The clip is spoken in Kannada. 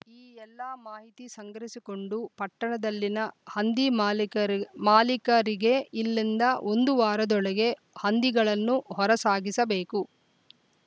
ಈ ಎಲ್ಲ ಮಾಹಿತಿ ಸಂಗ್ರಹಿಸಿಕೊಂಡು ಪಟ್ಟಣದಲ್ಲಿನ ಹಂದಿ ಮಾಲೀಕರ್ ಮಾಲೀಕರಿಗೆ ಇಲ್ಲಿಂದ ಒಂದು ವಾರದೊಳಗೆ ಹಂದಿಗಳನ್ನು ಹೊರ ಸಾಗಿಸಬೇಕು